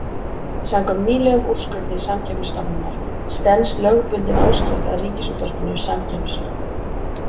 Samkvæmt nýlegum úrskurði Samkeppnisstofnunar stenst lögbundin áskrift að Ríkisútvarpinu samkeppnislög.